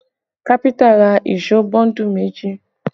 Kafinta ra èṣó bọ́ńdù méjì